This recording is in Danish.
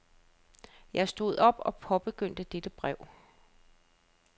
Jeg stod op og påbegyndte dette brev.